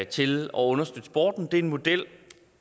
til at understøtte sporten det er jo en model